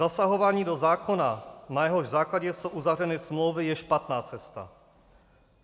Zasahování do zákona, na jehož základě jsou uzavřeny smlouvy, je špatná cesta.